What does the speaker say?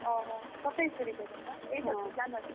ଓହୋ ସତେଇଶ ତାରିଖ ପର୍ଯ୍ୟନ୍ତ ଏଇ ସତେଇଶ January ସତେଇଶ।